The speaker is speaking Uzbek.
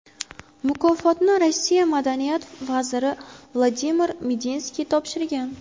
Mukofotni Rossiya madaniyat vaziri Vladimir Medinskiy topshirgan.